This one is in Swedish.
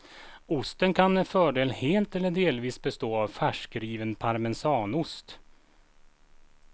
Osten kan med fördel helt eller delvis bestå av färskriven parmesanost.